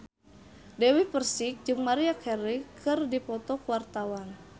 Dewi Persik jeung Maria Carey keur dipoto ku wartawan